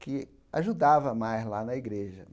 que ajudava mais lá na igreja.